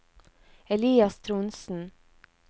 Elias Trondsen